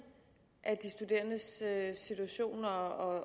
af de studerendes situation og